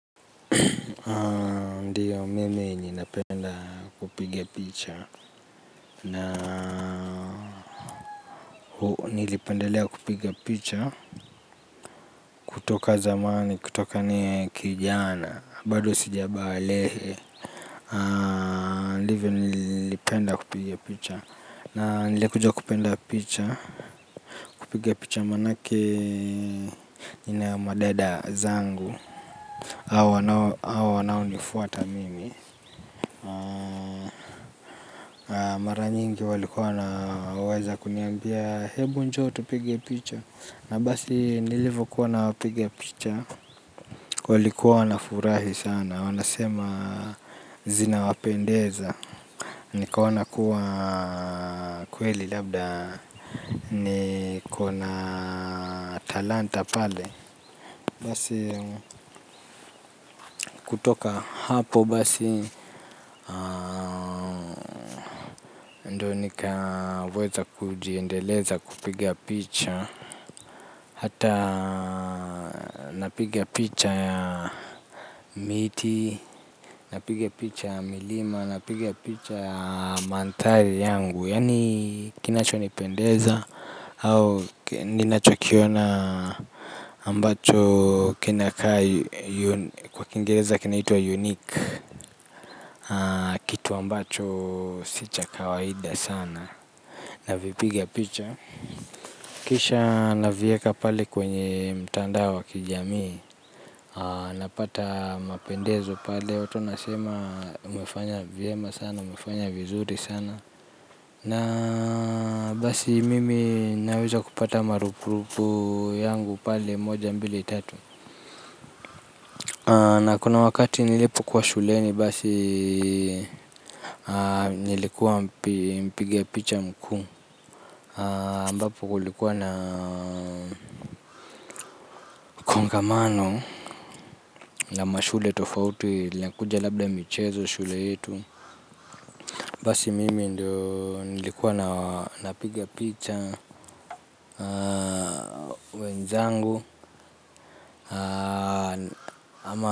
Ndiyo mimi ninapenda kupiga picha. Na huu nilipendelea kupiga picha. Kutoka zamani, kutoka kijana bado sijabalehe. Ndivyo nilipenda kupiga picha. Na nilikuja kupenda picha. Kupiga picha manake nina madada zangu. Awa wanaonifuata mimi. Mara nyingi walikuwa na uwezo wa kuniambia hebu njoo tupige picha. Na basi nilivyo kuwa napigia picha walikuwa wana furahi sana. Wanasema zinawapendeza. Nikaona kuwa kweli labda niko na talanta pale. Basi kutoka hapo basi. Ndio nikaweza kujiendeleza kupiga picha. Hata napiga picha ya miti, napiga picha ya milima, napigia picha ya mandhari yangu. Yani kinachonipendeza au ninachikiona ambacho kinakaa kwa kingereza kinaitwa unique. Kitu ambacho si cha kawaida sana navipiga picha. Kisha navieka pale kwenye mtandao wa kijami. Napata mapendezo pale wato wanasema umefanya vyema sana. Umefanya vizuri sana. Na basi mimi naweza kupata marupurupu yangu pale. Moja mbili tatu. Na kuna wakati nilipokuwa shuleni basi. Nilikuwa mpiga picha mkuu ambapo kulikuwa na kongamano ya mashule tofautu inakuja labda michezo shule yetu. Basi mimi ndio nilikuwa na napiga picha. Wenzangu ama.